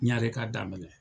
Ɲare ka daminɛ.